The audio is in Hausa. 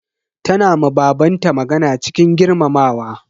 Tana ma baban ta magana cikin girmamawa.